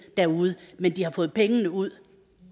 derude men de har fået pengene ud